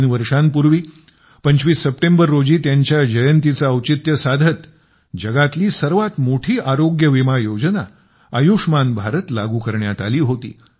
तीन वर्षांपूर्वी 25 सप्टेंबर रोजी त्यांच्या जयंतीचे औचित्य साधत जगातली सर्वात मोठी आरोग्य विमा योजना आयुष्मान भारत लागू करण्यात आली होती